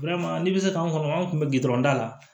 n bɛ se k'an kɔnɔ an tun bɛ gdɔrɔn da la